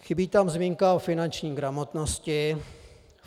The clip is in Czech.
Chybí tam zmínka o finanční gramotnosti.